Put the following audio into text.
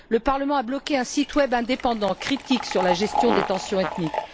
Le parlement a bloqué un site web indépendant critique sur la gestion des tensions ethniques.